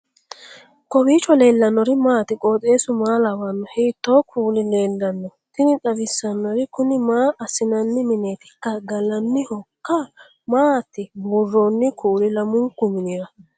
kowiicho leellannori maati ? qooxeessu maa lawaanno ? hiitoo kuuli leellanno ? tini xawissannori kuni maa assinanni minetikka gallannihoikka maati buurroonni kuuli lamunku minira